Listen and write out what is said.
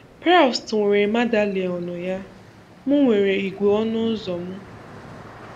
Proust nwere madeleinu ya, M nwere ígwè ọnụ ụzọ m.